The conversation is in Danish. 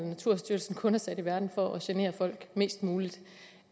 naturstyrelsen kun er sat i verden for at genere folk mest muligt